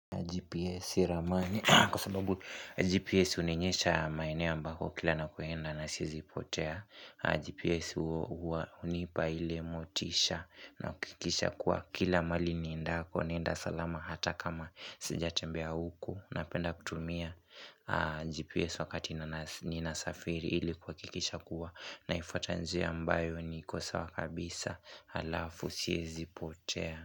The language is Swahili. GPS unionyesha maeneo ambako kila nakoenda na siezipotea GPS unipa ile motisha na kuhakikisha kuwa kila malini niendako Nenda salama hata kama sija tembea huku Napenda kutumia GPS wakati nina safiri ili kuhakikisha kuwa Naifuata njia ambayo niko sawa kabisa alafu siezi potea.